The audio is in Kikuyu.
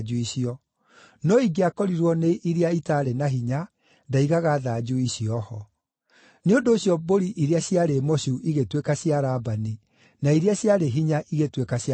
no ingĩakorirwo nĩ iria itaarĩ na hinya, ndaigaga thanju icio ho. Nĩ ũndũ ũcio mbũri iria ciarĩ mocu igĩtuĩka cia Labani, na iria ciarĩ hinya igĩtuĩka cia Jakubu.